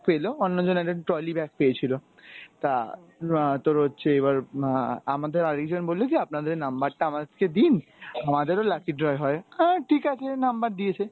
পেল অন্যজন একটা trolley bag পেয়েছিল। তা এর তোর হচ্ছে এবার আহ আমাদের আরিকজন বললো যে আপনাদের number টা আমাকে দিন আমাদেরও lucky draw হয় আহ ঠিকাছে number দিয়েছি